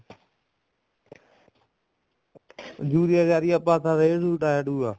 urea ਯਾਰੀਆ ਪਾ ਸਕਦੇ ਰੇਹ ਰੂਹ ਡਾਇਆ ਡੂਇਆ